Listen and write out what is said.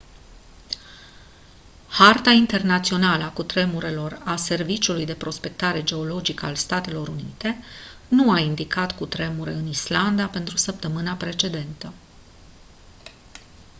harta internațională a cutremurelor a serviciului de prospectare geologică al statelor unite nu a indicat cutremure în islanda pentru săptămâna precedentă